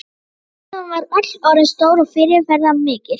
En hvað hún var öll orðin stór og fyrirferðarmikil.